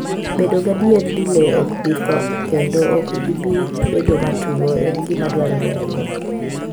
Bedo gadier ni le ok bi tho kendo ok gibi bedo matuwo en gima dwarore ahinya.